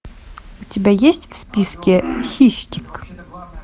у тебя есть в списке хищник